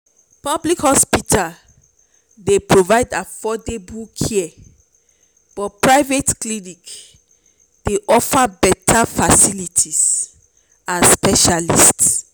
public hospitals dey provide affordable care but private clinics dey offer beta facilities and specialists.